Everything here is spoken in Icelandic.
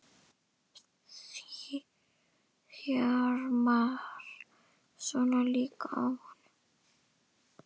Þjarmar svona líka að honum!